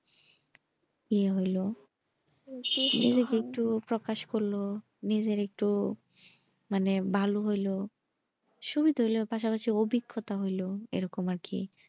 তে হলো নিজেকে একটু প্রকাশ করলো নিজের একটু মানে ভালো হইলো সুদুদুল আর কাছে একটা অভিগ্যতা হলো এরকম আরকি।